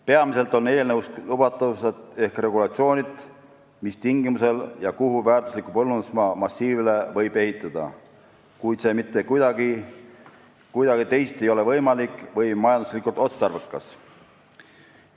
Peamiselt on eelnõus lubatavused ehk regulatsioonid, mis tingimusel ja kuhu väärtusliku põllumajandusmaa massiivile võib ehitada, kui see mitte kuidagi teisiti ei ole võimalik või on majanduslikult otstarbekas.